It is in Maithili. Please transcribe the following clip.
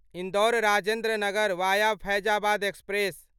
Indore Rajendra Nagar via Faizabad express